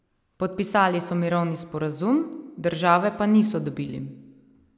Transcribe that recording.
Podpisali so mirovni sporazum, države pa niso dobili.